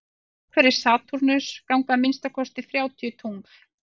umhverfis satúrnus ganga að minnsta kosti þrjátíu tungl